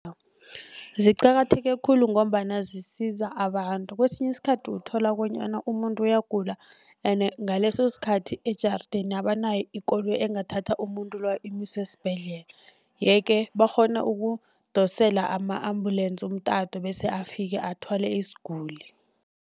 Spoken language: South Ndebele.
Ziqakatheke khulu ngombana zisiza abantu kwesinye isikhathi uthola bonyana umuntu uyagula ende ngaleso sikhathi ejarideni abanayo ikoloyi engathatha umuntu loyo imuse esibhedlela. Yeke bakghona ukudosela ama-ambulensi umtato bese afike athwale isiguli.